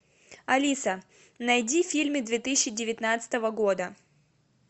алиса найди фильмы две тысячи девятнадцатого года